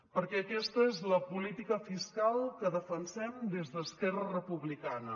perquè aquesta és la política fiscal que defensem des d’esquerra republicana